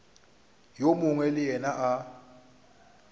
yo mongwe le yena a